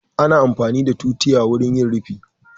Ana amfani da tutiya wurin yin rufi